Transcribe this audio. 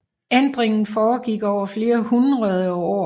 Ændringen foregik over flere hundrede år